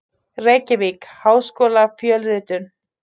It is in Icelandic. Reykjavík: Háskólafjölritun.